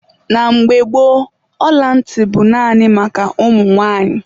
Na mgbe gboo, ọla ntị bụ naanị maka ụmụ nwanyị.